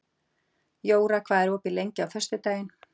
Jóra, hvað er opið lengi á föstudaginn?